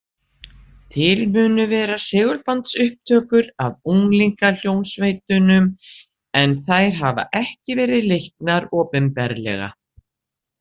Til munu vera segulbandsupptökur af unglingahljómsveitunum en þær hafa ekki verið leiknar opinberlega.